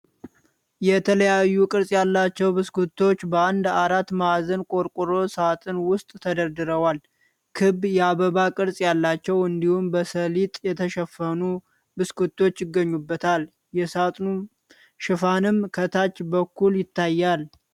የተለያዩ ቅርጽ ያላቸው ብስኩቶች በአንድ አራት ማዕዘን ቆርቆሮ ሳጥን ውስጥ ተደርድረዋል። ክብ፣ የአበባ ቅርጽ ያላቸው፣ እንዲሁም በሰሊጥ የተሸፈኑ ብስኩቶች ይገኙበታል። የሳጥኑ ሽፋንም ከታች በኩል ይታያል።